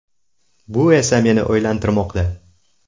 Bu esa meni o‘ylantirmoqda.